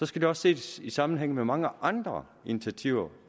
skal det også ses i sammenhæng med mange andre initiativer